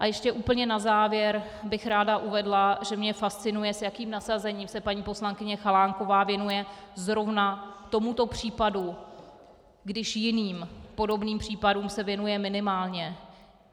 A ještě úplně na závěr bych ráda uvedla, že mě fascinuje, s jakým nasazením se paní poslankyně Chalánková věnuje zrovna tomuto případu, když jiným podobným případům se věnuje minimálně.